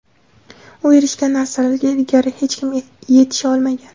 U erishgan narsalarga ilgari hech kim yetisha olmagan.